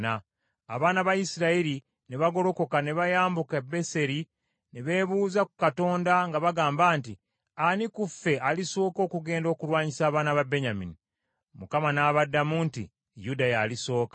Abaana ba Isirayiri ne bagolokoka ne bayambuka e Beseri ne beebuuza ku Katonda nga bagamba nti, “Ani ku ffe alisooka okugenda okulwanyisa abaana ba Benyamini?” Mukama n’abaddamu nti, “Yuda yalisooka.”